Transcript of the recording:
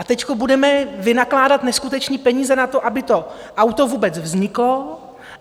A teď budeme vynakládat neskutečné peníze na to, aby to auto vůbec vzniklo.